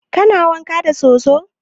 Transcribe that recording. Kana wanka da soso?